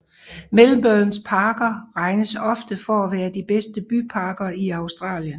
Melbournes parker regnes ofte for at være de bedste byparker i Australien